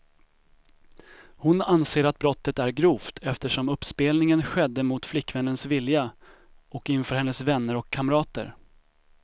Hon anser att brottet är grovt, eftersom uppspelningen skedde mot flickvännens vilja och inför hennes vänner och kamrater.